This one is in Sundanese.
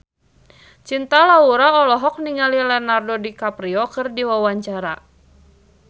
Cinta Laura olohok ningali Leonardo DiCaprio keur diwawancara